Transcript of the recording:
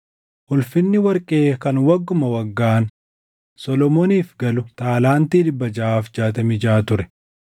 Ulfinni warqee kan wagguma waggaan Solomooniif galu taalaantii 666 ture;